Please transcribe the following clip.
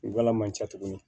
Wula man ca tuguni